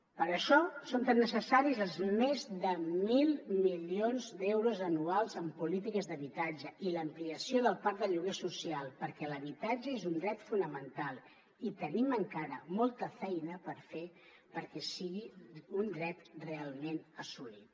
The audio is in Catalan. per això són tan necessaris els més de mil milions d’euros anuals en polítiques d’habitatge i l’ampliació del parc de lloguer social perquè l’habitatge és un dret fonamental i tenim encara molta feina perquè sigui un dret realment assolit